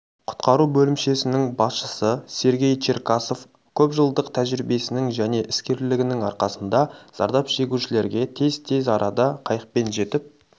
құтқару бөлімшесінің басшысы сергей черкасов көпжылдық тәжірибесінің және іскерлігінің арқасында зардап шегушілерге тез арада қайықпен жетіп